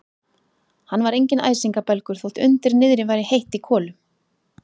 Hann var enginn æsingabelgur, þótt undir niðri væri heitt í kolum.